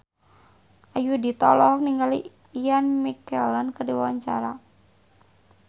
Ayudhita olohok ningali Ian McKellen keur diwawancara